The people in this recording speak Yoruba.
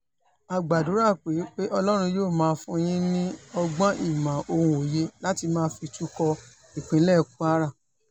a gbàdúrà pé pé ọlọ́run yóò máa fún yín ní ọgbọ́n ìmọ̀ ohun òye láti máa fi tukọ̀ ìpínlẹ̀ kwara